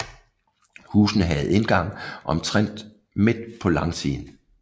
Husene havde indgang omtrent midt på langsiden